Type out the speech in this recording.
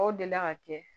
Aw deli la ka kɛ